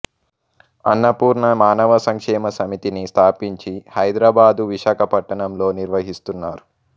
అన్నపూర్ణ మానవ సంక్షేమ సమితిని స్థాపించి హైదరాబాదు విశాఖపట్టణంలో నిర్వహిస్తున్నారు